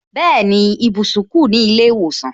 Bẹẹni, ibùsùn ku ni ile iwosan